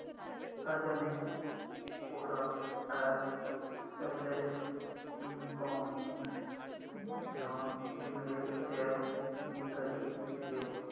Adani ports and special economic zone limited shares मी कधी घेऊ